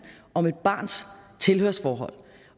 om et barns tilhørsforhold